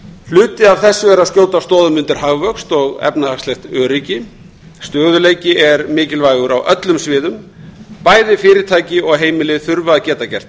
hluti af þessu er að skjóta stoðum undir hagvöxt og efnahagslegt öryggi stöðugleiki er mikilvægur á öllum sviðum bæði fyrirtæki og heimili þurfa að geta gert